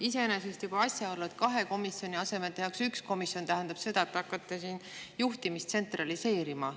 Iseenesest juba asjaolu, et kahe komisjoni asemele tehakse üks komisjon, tähendab seda, et te hakkate juhtimist tsentraliseerima.